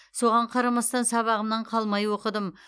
соған қарамастан сабағымнан қалмай оқыдым